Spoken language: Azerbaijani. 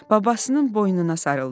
Babasının boynuna sarıldı.